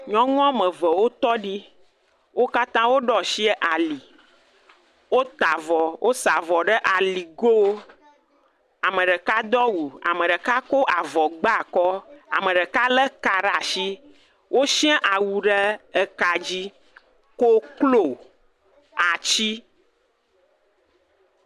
Nyɔnu woame eve wo tɔ ɖi, wo katã woɖo asi ali, wota avɔ, wosa avɔ ɖe ali go, ame ɖeka do awu ame ɖeka ko avɔ gba akɔ, ame ɖeka lé ka ɖe asi, wosiã awu ɖe ka dzi, koklo ati